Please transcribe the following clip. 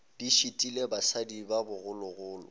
di šitile basadi ba bogologolo